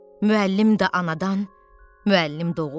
Müəllim də anadan müəllim doğulmayıb.